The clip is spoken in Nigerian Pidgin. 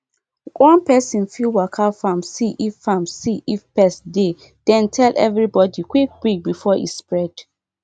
one person fit waka farm see if farm see if pest dey then tell everybody quick quick before e spread